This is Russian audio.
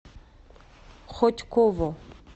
хотьково